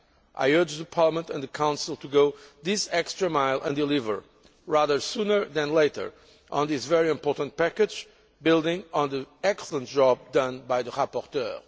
I urge Parliament and the Council to go this extra mile and deliver, sooner rather than later, on this very important package building on the excellent job done by the rapporteur.